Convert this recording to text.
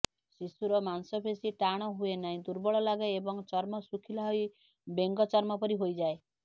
ଶିଶୁର ମାଂସପେଶୀ ଟାଣ ହୁଏନାହିଁ ଦୁର୍ବଳ ଲାଗେ ଏବଂ ଚର୍ମ ଶୁଖିଲା ହୋଇ ବେଙ୍ଗଚର୍ମ ପରି ହୋଇଯାଏ